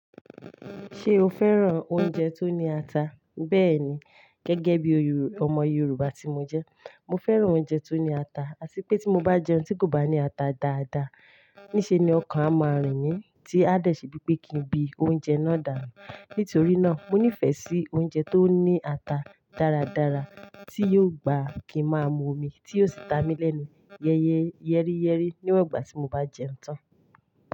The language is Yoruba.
Ṣé o fẹ́ràn oúnjẹ tó ní ata? Bẹ́ẹ̀ni, gẹ́gẹ́ bí ọmọ Yorùbá tí mo jẹ́, mo fẹ́ràn oúnjẹ tó ní ata. Àsí pé tí mo bá jẹ oúnjẹ tí kò bá ní ata dáadáa, ní ṣe ni ọkàn a máa rìn mí tí a dẹ̀ ṣe bíi pé kí n bí oúnjẹ náà dànù. Nítorí náà, mo nífẹ̀ẹ́ sí oúnjẹ tó ní ata dáradára tí yóò gbà kí a máa mu omi tí yóò sì ta mi lẹ́nu yẹ́ríyẹ́rí níwan igbà tí mo bá jẹun tán.